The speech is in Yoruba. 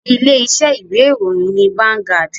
Ilé iṣẹ́ ìwé ìròyìn ni Vangaud.